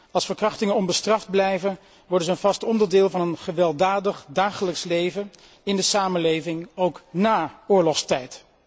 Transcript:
Als verkrachtingen onbestraft blijven, worden zij een vast onderdeel van een gewelddadig dagelijks leven in de samenleving, ook na oorlogstijd.